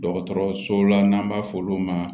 Dɔgɔtɔrɔso la n'an b'a f'olu ma